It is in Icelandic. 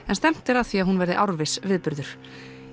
en stefnt er að því að hún verði árviss viðburður